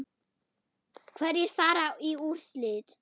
Hverjir fara í úrslit?